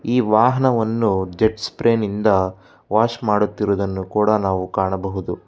ಈ ವಾಹನವನ್ನು ಜೆಟ್ ಸ್ಪ್ರೇನಿಂದ ವಾಶ್ ಮಾಡುತ್ತಿರುವುದನ್ನು ಕೂಡ ನಾವು ಕಾಣಬಹುದು.